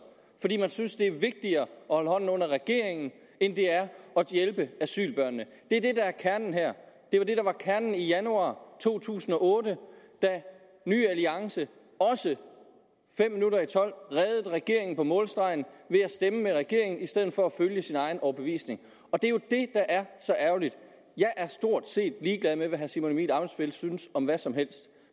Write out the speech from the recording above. fordi man synes at det er vigtigere at holde hånden under regeringen end det er at hjælpe asylbørnene det er det der er kernen her det var det der var kernen i januar to tusind og otte da ny alliance også fem minutter i tolv reddede regeringen på målstregen ved at stemme med regeringen i stedet for at følge sin egen overbevisning det er jo det der er så ærgerligt jeg er stort set ligeglad med hvad herre simon emil ammitzbøll synes om hvad som helst